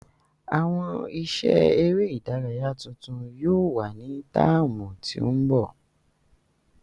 Awọn iṣẹ ere idaraya tuntun yóò wa ni táámu ti ńbọ.